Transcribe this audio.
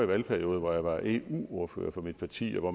valgperiode hvor jeg var eu ordfører for mit parti hvor